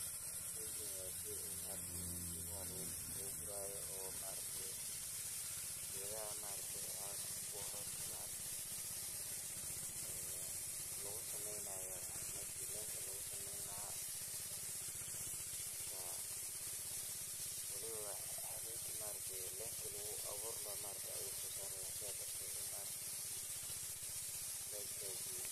Sheeygan wa sheey maaragtay in keetha lagu kurayo oo maaragtay ketha coska lagu sameynayo shelinga lagu sameeynahay walibo leenka lagu abuurilahay ayu sosareyh setha darteed Aya lo istajiye .